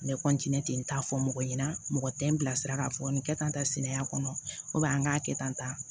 N bɛ ten ten n t'a fɔ mɔgɔ ɲɛna mɔgɔ tɛ n bilasira k'a fɔ nin kɛ tan sinaya kɔnɔ n k'a kɛ tan